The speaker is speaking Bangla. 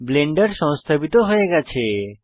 ব্লেন্ডার সংস্থাপিত হয়ে গেছে